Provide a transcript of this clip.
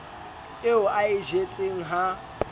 eo a e jetseng ha